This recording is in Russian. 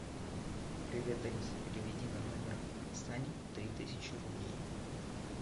привет алиса переведи на номер сани три тысячи рублей